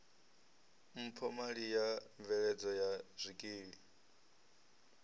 mphomali ya mveledzo ya zwikili